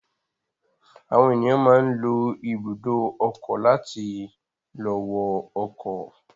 Àwọn ènìyàn máa ń lọ ibùdó ọkọ̀ láti lọ wọ ọkọ̀.